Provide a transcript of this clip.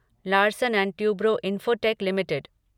Larsen and Toubro Infotech limited